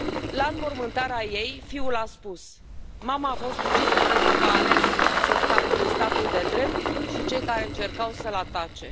La înmormântarea ei, fiul a spus Mama a fost ucisă pentru că a ales să stea între statul de drept și cei care încercau să l atace.